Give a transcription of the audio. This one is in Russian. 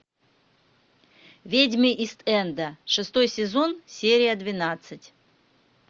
ведьмы ист энда шестой сезон серия двенадцать